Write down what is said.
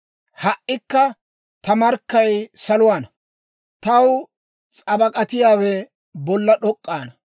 Ha"ikka ta markkay saluwaana; taw s'abak'atiyaawe bolla d'ok'k'aana.